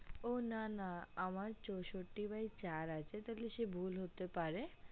ও না না আমার চোষট্টি bye চার আছে সে তালে ভুল হতে পারে